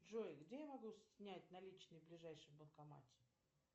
джой где я могу снять наличные в ближайшем банкомате